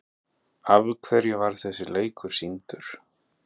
Af hverju var þessi leikur sýndur?